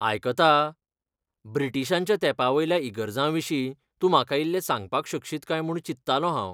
आयकता, ब्रिटीशांच्या तेंपावेल्या इगर्जांविशीं तूं म्हाका इल्लें सांगपाक शकशीत काय म्हूण चिंत्तालों हांव?